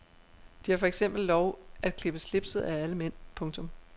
De har for eksempel lov at klippe slipset af alle mænd. punktum